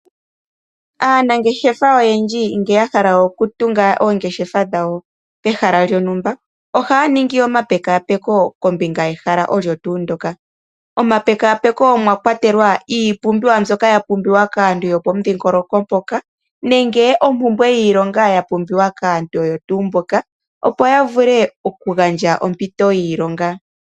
Aanangeshefa oyendji ngele yahala okutunga oongeshefa pehala lyontumba ohaya ningi oma pekapeko kombinga yehala olyo tuu ndoka . Omapekapeko omwa kwatelwa iipumbiwa mbyoka ya pumbiwa kaantu yopo mudhingoloko mpoka nenge ompumbwe yiilongo ya pumbiwa kaantu oyo tuu mboka opo yavule oku gandja ompito yiilonga.